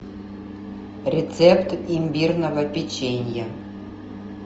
рецепт имбирного печенья